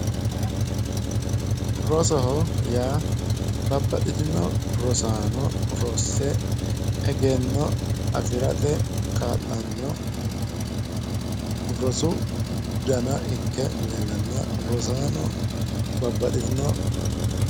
Rosoho yaa babbaxxitino rosaano rosse egenno afirate kaa'lanno rosu dana ikke leellannoha rosaano babbaxxitino